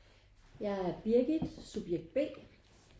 Jeg er Birgit subjekt B